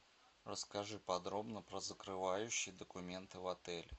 расскажи подробно про закрывающие документы в отеле